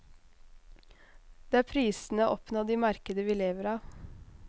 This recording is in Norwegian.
Det er prisene oppnådd i markedet vi lever av.